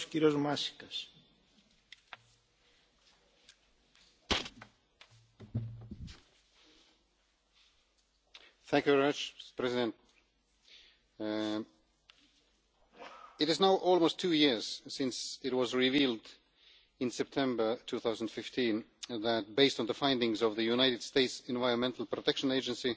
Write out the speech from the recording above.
Mr President, it is now almost two years since it was revealed in September 2015 that, based on the findings of the United States Environmental Protection Agency,